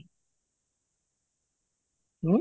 ହୁଁ?